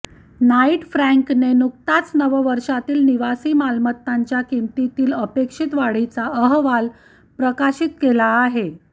Knight फ्रँकने नुकताच नववर्षातील निवासी मालमत्तांच्या किमतीतील अपेक्षित वाढीचा अहवाल प्रकाशित केला आहे